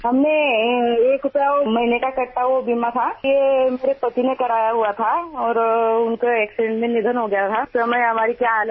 One rupee per month was being deducted towards insurance premium which my husband had subscribed to